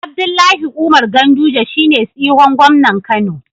Abdullahi Umar ganduje shine tsihon gomnan kano